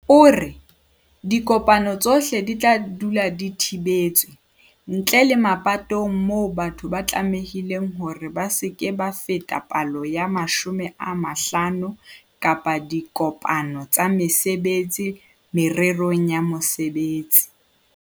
O re, "Dikopano tsohle di tla dula di thibetswe, ntle le mapatong moo batho ba tlamehileng hore ba se ke ba feta palo ya 50 kapa diko-pano tsa mesebetsi mererong ya mosebetsi."